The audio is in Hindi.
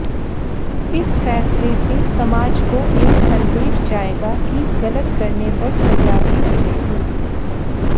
इस फैसले से समाज को एक संदेश जाएगा कि गलत करने पर सजा भी मिलेगी